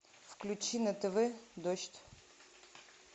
включи на тв дождь